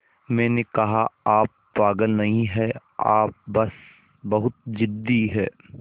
मैंने कहा आप पागल नहीं हैं आप बस बहुत ज़िद्दी हैं